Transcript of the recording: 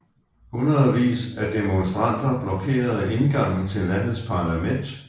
Hundredvis af demonstranter blokerede indgangen til landets parlament